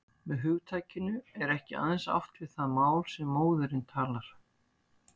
Með hugtakinu er ekki aðeins átt við það mál sem móðirin talar.